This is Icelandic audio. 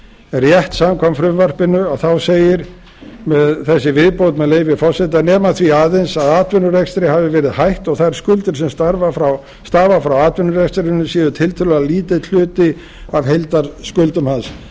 rétt samkvæmt frumvarpinu þá segir þessi viðbót með leyfi forseta nema því aðeins að atvinnurekstri hafi verið hætt og þær skuldir sem stafa frá atvinnurekstrinum sé tiltölulega lítill hluti af heildarskuldum hans